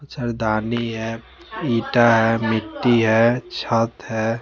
सरदारनी है ईटा है मिट्टी है छत है।